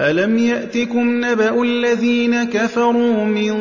أَلَمْ يَأْتِكُمْ نَبَأُ الَّذِينَ كَفَرُوا مِن